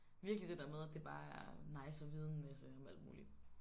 Virkelig det der med at det bare er nice at vide en masse om alt muligt